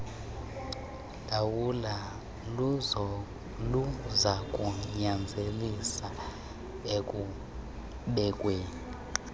lawulo luzakunyanzelisa ekubekweni